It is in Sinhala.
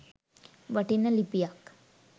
වටින ලිපියක්